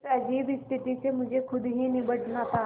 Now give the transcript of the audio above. इस अजीब स्थिति से मुझे खुद ही निबटना था